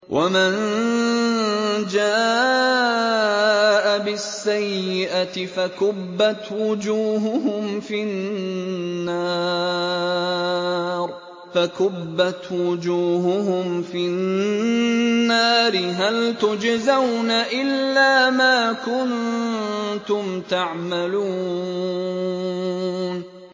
وَمَن جَاءَ بِالسَّيِّئَةِ فَكُبَّتْ وُجُوهُهُمْ فِي النَّارِ هَلْ تُجْزَوْنَ إِلَّا مَا كُنتُمْ تَعْمَلُونَ